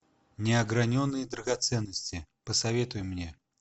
неограненные драгоценности посоветуй мне